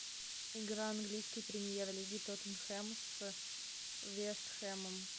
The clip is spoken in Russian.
игра английской премьер лиги тоттенхэм с вест хэмом